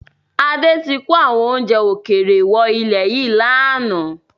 Adé tí kò àwọn oúnjẹ ókéré wọ ilẹ̀ yìí láánaà